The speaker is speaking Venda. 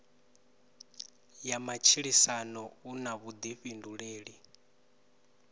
ya matshilisano u na vhuḓifhinduleli